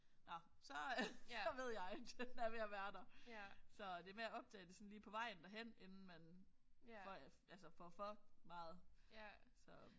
Nåh så så ved jeg den er ved at være der. Så det er med at optage det sådan lige på vejen derhen inden man før jeg altså får for meget så